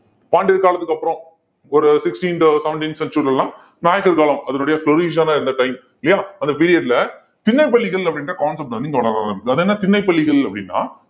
பாண்டியர் காலத்துக்கு அப்புறம் ஒரு sixteenth seventeen century ல எல்லாம் நாயக்கர் காலம் அதனுடைய இருந்த time இல்லையா அந்த period ல திண்ணைப் பள்ளிகள் அப்படின்ற concept வந்து அது என்ன திண்ணைப் பள்ளிகள் அப்படின்னா